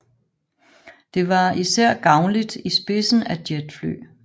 Det var især gavnligt i spidsen af jetfly